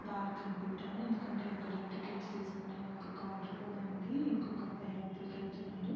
Park అనుకుంటాను ఎందుకంటే ఇక్కడ టికెట్ తీసుకునే ఒక కౌంటర్ కూడా ఉంది ఇంకొక అబ్బాయి లోపల్లకి వెళ్తున్నాడు.